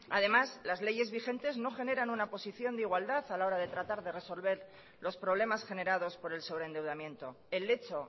además las leyes vigentes no generan una posición de igualdad a la hora de tratar de resolver los problemas generados por el sobreendeudamiento el lecho